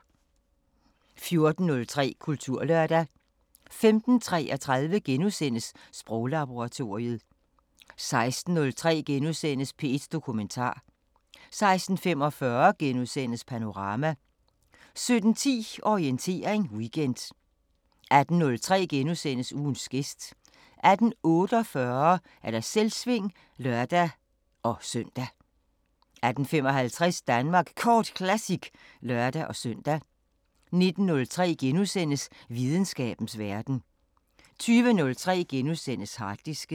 14:03: Kulturlørdag 15:33: Sproglaboratoriet * 16:03: P1 Dokumentar * 16:45: Panorama * 17:10: Orientering Weekend 18:03: Ugens gæst * 18:48: Selvsving (lør-søn) 18:55: Danmark Kort Classic (lør-søn) 19:03: Videnskabens Verden * 20:03: Harddisken *